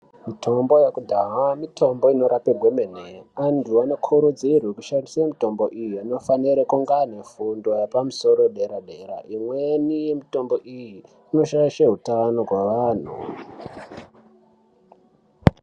Mitombo yekudhaya mitombo inoshanda kwemene antu anokurudzirwe kushandisa mitombo iyi anofanire kunge ane fundo yepamusoro yedera dera imweni yemitombo iyi inoshaishe hutano hwevantu.